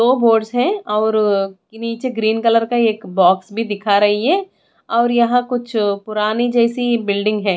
दो बोर्ड्स है और नीचे ग्रीन कलर का एक बॉक्स भी दिख रही है और यहां कुछ पुरानी जैसी बिल्डिंग है।